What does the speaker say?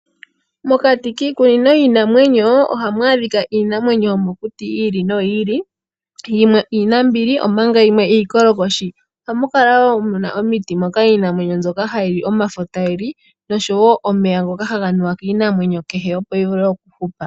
Mokati kiikunino yiinamwenyo, oha mu adhika iinamwenyo yomokuti yi ili noyi ili, yimwe iinambili omanga yimwe iikolokoshi. Oha mu kala woo muna omiti moka iinamwenyo mboka hayi li omafo ta yi li nosho omeya ngoka ha ga nuwa kiinamwenyo kehe opo yi vule okuhupa.